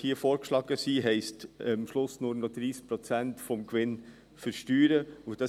Die vorgeschlagenen Regeln heissen, dass am Schluss nur noch 30 Prozent des Gewinns versteuert werden.